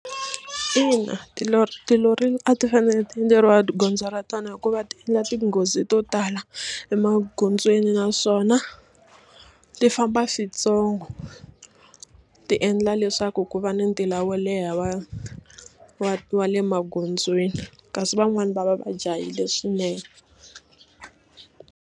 Ina tilori tilori a ti fanele ti endleriwa gondzo ra tona hikuva ti endla tinghozi to tala emagondzweni naswona ti famba switsongo ti endla leswaku ku va ni ntila wo leha wa wa wa le magondzweni kasi van'wani va va va jahile swinene.